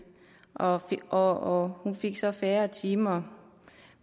og og hun fik så færre timer